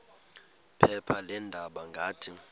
phepha leendaba ngathi